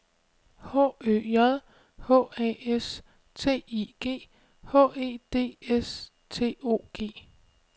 H Ø J H A S T I G H E D S T O G